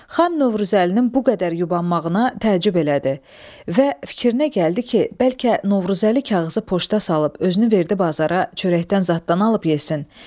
Xan Novruzəlinin bu qədər yubanmağına təəccüb elədi və fikrinə gəldi ki, bəlkə Novruzəli kağızı poçta salıb özünü verdi bazara çörək zadın alıb yesin.